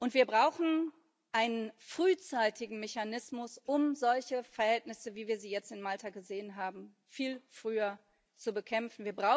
Wir brauchen einen frühzeitigen Mechanismus, um solche Verhältnisse, wie wir sie jetzt in Malta gesehen haben, viel früher zu bekämpfen.